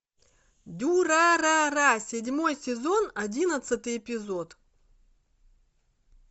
дюрарара седьмой сезон одиннадцатый эпизод